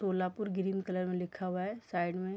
Solapur green colour में लिखा हुआ है साइड में --